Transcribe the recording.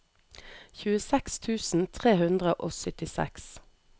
tjueseks tusen tre hundre og syttiseks